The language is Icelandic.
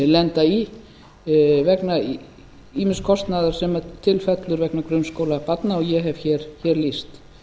lenda í vegna ýmis kostnaðar sem til fellur vegna grunnskóla barna og ég hef hér lýst